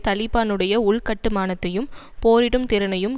தலிபானுடைய உள்கட்டுமானத்தையும் போரிடும் திறனையும்